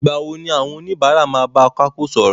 Ìgbà wo ni àwọn oníbàárà máa ń bá akápò sọ̀rọ̀?